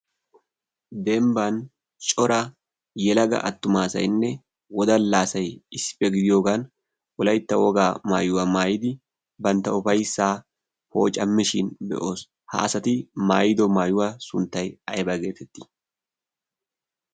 dembban cora yelaga attumaasayinne wodalaasai issippe gidiyoogan wolaytta wogaa maayuwaa maayidi bantta ufayssaa pooca mishin be'oos. haasati maayido maayuwaa sunttay aibaa geetettii?